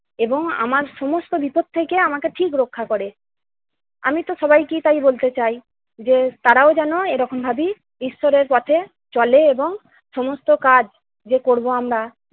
এবং আমার সমস্ত বিপদ থেকে আমাকে ঠিকই রক্ষা করে। আমি তো সবাইকে তাই বলতে চাই যে তারাও যেন এরকম ভাবেই ঈশ্বরের পথে চলে এবং সমস্ত কাজ যে করব আমরা-